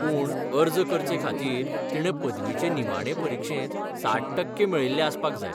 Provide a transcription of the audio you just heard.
पूण अर्ज करचे खातीर, तिणें पदवीचे निमाणे परिक्षेंत साठ टक्के मेळयिल्ले आसपाक जाय.